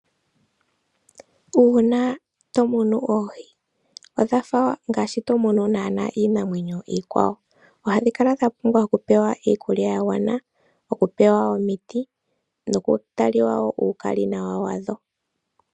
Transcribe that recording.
Uuna to munu oohi, odhafa ngaashi to munu naana iinamwenyo iikwawo. Ohadhi kala dha pumbwa oku pewa iikulya ya gwana, oku pewa omiti, noku taliwa wo uukalinawa wadho.